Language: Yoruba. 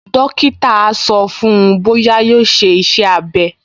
Dókítà á sọ fún-un bóyá yóò ṣe iṣẹ́-abẹ́